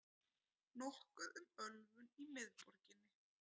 Nokkuð um ölvun í miðborginni